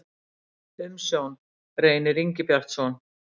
Umsjón: Reynir Ingibjartsson.